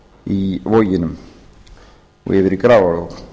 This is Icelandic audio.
í voginum og yfir í grafarvog